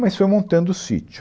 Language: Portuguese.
Mas foi montando o sítio.